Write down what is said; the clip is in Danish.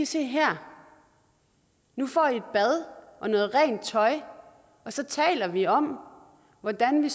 se her nu får du et bad og noget rent tøj og så taler vi om hvordan vi